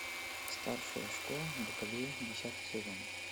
старшая школа бакалея десятый сезон